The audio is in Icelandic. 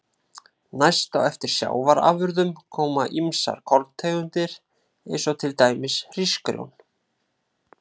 Næst á eftir sjávarafurðum koma ýmsar korntegundir eins og til dæmis hrísgrjón.